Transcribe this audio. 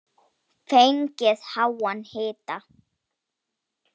Fengið háan hita.